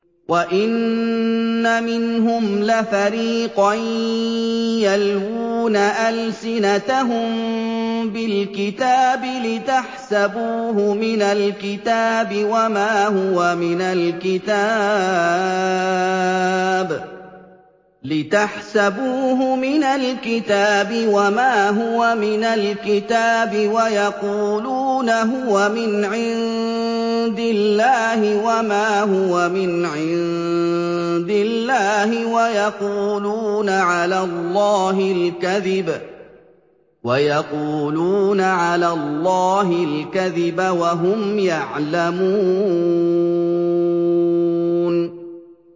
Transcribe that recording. وَإِنَّ مِنْهُمْ لَفَرِيقًا يَلْوُونَ أَلْسِنَتَهُم بِالْكِتَابِ لِتَحْسَبُوهُ مِنَ الْكِتَابِ وَمَا هُوَ مِنَ الْكِتَابِ وَيَقُولُونَ هُوَ مِنْ عِندِ اللَّهِ وَمَا هُوَ مِنْ عِندِ اللَّهِ وَيَقُولُونَ عَلَى اللَّهِ الْكَذِبَ وَهُمْ يَعْلَمُونَ